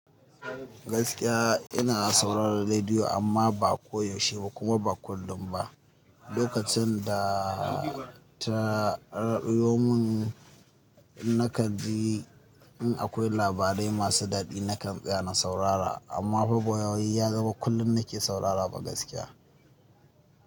Gaskiya ina sauraron rediyo amma ba ko yaushe ba kuma ba kullum ba. Lokacin da ta raɗiyo mun na kan ji in akwai labarai masu daɗi nakan tsaya na saurara amma fa bawai ya zama kullum nake saurara ba gaskiya.